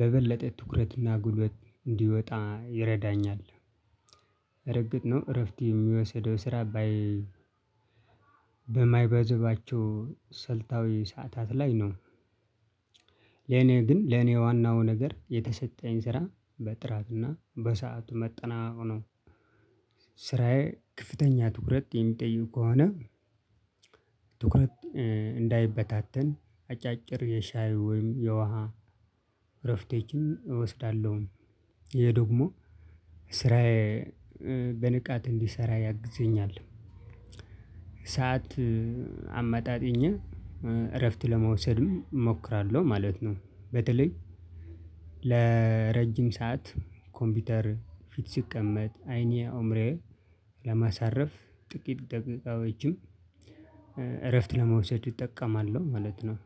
በበለጠ ትኩረት እና ጉልበት እንዲወጣ ይረዳኛል። እርግጥ ነው እረፍት የሚወስደው ስራ ባይ በማይበዛባቸው ስልታዊ ሰዓታት ላይ ነው። ለኔ ግን ለኔ ዋናው ነገር የተሰጠኝ ስራ በጥራትና በሰአቱ መጠናቀቅ ነው። ስራዬ ከፍተኛ ትኩረት የሚጠይቁ ከሆነ ትኩረት ደንዳይበታተን አጫጭር የሻይ ወይም የውሃ እረፍቶችን እወስዳለሁኝ። ይሄ ደግሞ ስራዬ በንቃት እንድሰራ ያግዘኛል። ሰዓት አመጣጥኜ እረፍት ለመውሰድም እሞክራለሁ ማለት ነው። በተለይ ለረጅም ሰዓት ኮምፒውተር ፊት ስቀመጥ፣ አይኔ አእምሮዬ ለማሳረፍ ጥቂት ደቂቃዎችን እረፍት ለመውሰድ እጠቀማለሁ ማለት ነው።